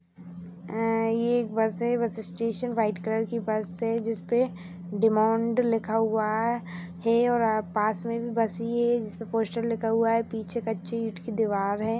अ ये एक बस है बस स्टेशन व्हाइट कलर की बस है जिस पे डायमंड लिखा हुआ है है और पास में भी बस ही है जिस पे पोस्टर लिखा हुआ है पीछे कच्ची ईट की दीवाल है।